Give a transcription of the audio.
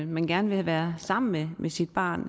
man gerne vil være sammen med med sit barn